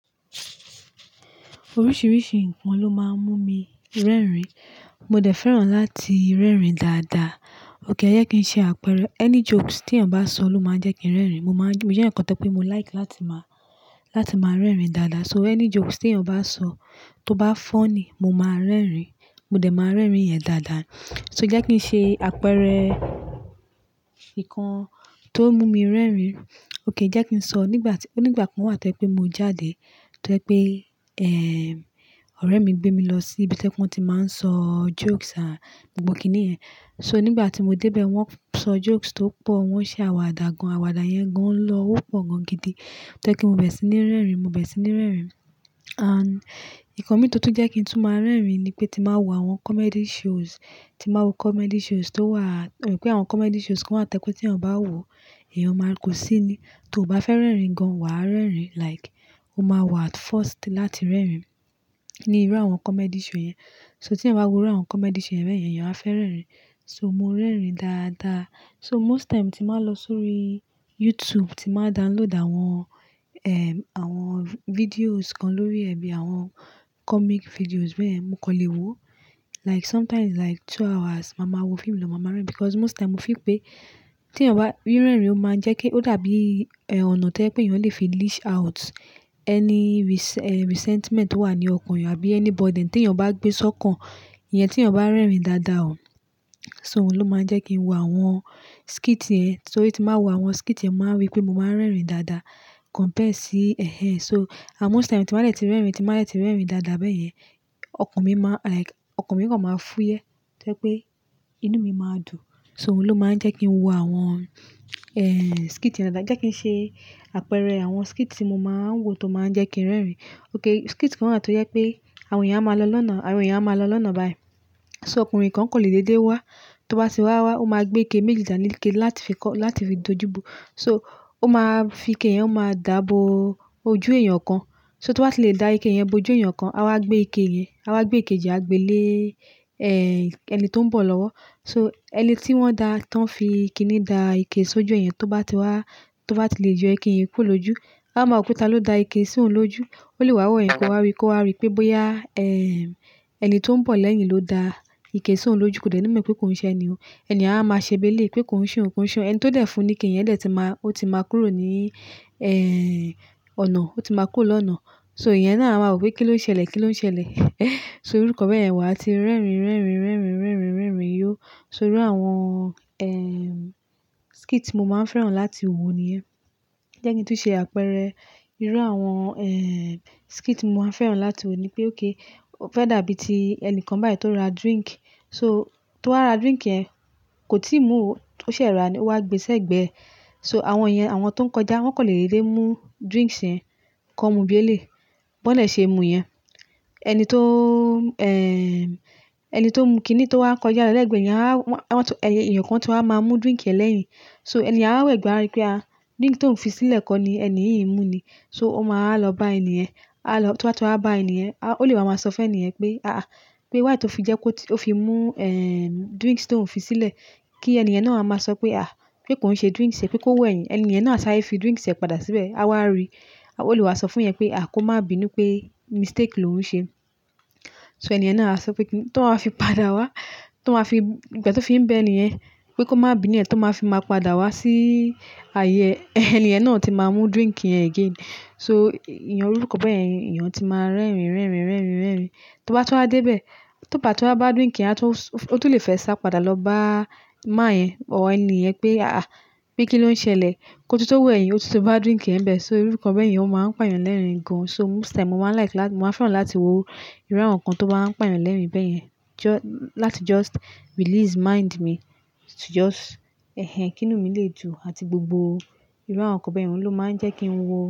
Oríṣìíríṣìí nǹkan ló máa ń mú mi rẹ́rìn-ín. Mo dẹ̀ fẹ́ràn láti rẹ́rìn-ín dáadáa. Ókè, jẹ́ kí n ṣe àpẹẹrẹ. Any jokes tí èèyàn bá sọ ló máa jẹ́ kí n rẹ́rìn-ín. Mo máa ń gí-- mo jẹ́ ẹ̀yàn kan tó jé pé mo like láti máa, láti máa rẹ́rìn-ín dáadáa. So any jokes tí èèyàn bá sọ tó bá funny, mo máa rẹ́rìn-ín. Mo dẹ̀ máa rẹ́rìn-ín rẹ̀ dáadáa. So jẹ́ kí n ṣe àpẹẹrẹ nǹkan tó mú mi rẹ́rìn-ín. Ókè, jẹ́ kí n sọ. Nígbà tí-- nígbà kan wà tó pé mo jáde, tó pé, ẹ́èh, ọ̀rẹ́ mi gbé mi lọ sí ibi tí wọ́n ti máa ń sọ jokes à gbogbo kíni yẹn. So nígbà tí mo dé bẹ́ẹ̀ wọ́n sọ jokes tó pọ̀, wọ́n ṣe àwàdà gan. Àwàdà yẹn gan ló ń lọ, ó pọ̀ gan gidi tó pé kí n bẹ̀rẹ̀ sí ní rẹ́rìn-ín, mo bẹ̀rẹ sí ní rẹ́rìn-ín. And nǹkan mi tó túń jẹ́ kí n tún máa rẹ́rìn-ín ni pé tí màá wo àwọn comedy shows, tí màá wo comedy shows tó wà-- wípé àwọn comedy shows kan wà tó pé tí èèyàn bá wòó, èèyàn máa kò sí ní tó ò bá fẹ́ rẹ́rìn-ín gan, wàá rẹ́rìn-ín. Like, o máa wà at first láti rẹ́rìn-ín ní irú àwọn comedy show yẹn. So tí èèyàn bá wo irú àwọn comedy show bẹ́ẹ̀ yẹn, èèyàn á fẹ́ rẹ́rìn-ín. So mo rẹ́rìn-ín dáadáa. So most time tí màá lọ sórí YouTube, tí màá download àwọn, àwọn videos kan lórí ẹbí àwọn comic videos bẹ́ẹ̀ yẹn, mo kọ́ lè wo. Like sometimes like two hours, màá ma wọ fíìmù lọ, màá ma rẹ́rìn-ín because most time mo feel pé tí èèyàn bá-- rí rẹ́rìn-ín o máa ń jẹ́ kí ó dàbí, ọ̀nà tó pé èèyàn lè fi leash out any res-- ẹ́h, resentment tó wà ní ọkàn èèyàn àbí any burden tí èèyàn bá gbé sọ́kàn. Iyẹn tí èèyàn bá rẹ́rìn-ín dáadáa o. So òun ló máa ń jẹ́ kí n wo àwọn skit yẹn. Tó rí ti báá wo àwọn skit yẹn, mo màá rí pé mo máa ń rẹ́rìn-ín dáadáa compared sí. So à most time tí màá dẹ̀ ti rẹ́rìn-ín, tí màá dẹ̀ ti rẹ́rìn-ín dáadáa bẹ́ẹ̀ yẹn, ọkàn mi máa like-- ọkàn mi kan máa fúyẹ́ tó pé inú mi máa dùn. So òun ló máa ń jẹ́ kí n wo àwọn skit yẹn dáadáa. Jẹ́ kí n ṣe àpẹẹrẹ àwọn skit tí mo máa ń wo tó máa ń jẹ́ kí n rẹ́rìn-ín. Ok, skit kan wà tó yẹ pé àwọn èèyàn máa lọ lọ́nà, àwọn èèyàn máa lọ lọ́nà bayi. So ọkùnrin kan kọ̀lẹ́ dẹ́dẹ́ wá, tó bá ti wá wá ó máa gbé ike méjì dání ike láti fi kọ́—láti fi dojú bu. So ó máa fi ike yẹn, ó máa dà á bo ojú èèyàn kan. So tó bá ti lè da ike yẹn bo ojú èèyàn kan, a máa gbé ike yẹn, a wá gbé ikeji àgbélé, ẹni tó ń bọ̀ lọ́wọ́. So ẹni tí wọ́n da, tán fi kiní da ike sójú ẹ yen, tó bá ti wá, tó bá ti lè yo ike yẹn kúrò lójú, a máa mọ̀ pé tá ló da ike sí òun lójú. Ó lè wá wọ̀ ẹ́yin, kọ́ wá ri, kọ́ wá ri pé bóyá, ẹni tó ń bọ̀ lẹ́yìn ló da ike sí òun lójú. Kò dẹ́ni mọ̀ pé ko n ṣe ẹni yẹn. Ẹniyen àá máa ṣe béle pé ko n ṣe oun, ko n ṣe oun. Ẹni tó dẹ̀ fún ni ike yẹn dẹ̀ ti máa-- ó ti máa kúrò ní, ẹ́éh, ọ̀nà. Ó ti máa kúrò lọ́nà. So iyẹn náà a máa wò pé kí ló ń ṣẹlẹ̀, kí ló ń ṣẹlẹ̀. So irú nǹkan bẹ́ẹ̀ yen, wà tí rẹ́rìn-ín, rẹ́rìn-ín, rẹ́rìn-ín, rẹ́rìn-ín, rẹ́rìn-ín yó. So irú àwọn, ẹ́m, skit ti mo máa ń fẹ́ràn láti wo níyẹn. Jẹ́ kí n tún ṣe àpẹẹrẹ. Irú àwọn, ẹ́éh, skit ti mo máa ń fẹ́ràn láti wo ni pé ókè, o fẹ́ dàbí ti ẹni kan bayi tó ra drink. So tó wá ra drink yẹn kò tíì mú ò, ó ṣẹ̀ rà ní, o wá gbe sẹ́gbẹ̀ẹ́. So àwọn iyen àwọn tó ń kọjá wọ́n kọ̀lẹ́ dẹ́dẹ́ mú drinks yẹ́n kan mú bí ẹ́lẹ́. Bọ́ dẹ̀ ṣe mú yẹn. Ẹni tó, ẹni tó ń mu kiní tó wá ń kọjá lẹ́ẹ̀gbẹ́ yẹn a wọ́n, wọ́n tó-- èèyàn kan tún máa wá máa mú drink yẹn lẹ́yìn. So ẹni yẹn á wá w'ẹ̀gbẹ́ áá rí pé, drink t'óun fi sílẹ̀ kọ́ ni ẹni yìí mú ni. So ó máa wá lọ bá ẹni yẹn. A lọ-- tó bá tó wá bá èèyàn, a-- ó lè máa sọ fún èèyàn pé aà, pé wáì tó fi jẹ́ kó ti-- ó fi mú, ẹ́m, drink tó ń fi sílẹ̀. Kí ẹni yẹn náà wá máa sọ pé, pé kó ń ṣe drinks ẹ̀ pé kó wẹ̀yìn. Ẹni èèyàn náà sáré fi drinks ẹ̀ padà síbẹ̀. A wá rí. Ó lè wá sọ fún'yẹn pé kó má bínú pé mistake lòun ṣe. So èèyàn náà á sọ pé kí n-- tó máa fi padà wá, tó máa fi-- ìpẹ̀ tí ó fi ń bẹ èèyàn pé kó má bi ni ẹ́, tó máa fi máa padà wá sí ààyè ẹ̀, ẹni yẹn náà tí máa mú drink yẹn again. So ìyẹn rírú ọ̀rọ̀ bẹ́ẹ̀ yẹn, èèyàn tí máa ń rẹ́rìn-ín, rẹ́rìn-ín, rẹ́rìn-ín, rẹ́rìn-ín. Tó bá tó wá dé bẹ́ẹ̀, tó bà tí wá bá drink yẹn, a tún s-- ó tún lè fẹ́ sá padà lọ bá man yẹn or ẹni yẹn pé aà, pé kí ló ń ṣẹlẹ̀? Kó tún tó wẹ̀yìn, ó tún ti bá drink yẹn ńbẹ̀. So irú nǹkan bẹ́yẹn ó máa ń pàyàn lẹ́rìn-ín gan. So most time mo máa ń like láti-- mo máa ń fẹ́ràn láti wo irú àwọn nǹkan tó bá ń pàyàn lẹ́rìn-ín bẹ́ẹ̀ yẹn. Just, láti just release mind mi, to just kínú mi lè dùn àti gbogbo irú àwọn nǹkan báyẹn, òun ló máa ń jẹ́ kí n wo.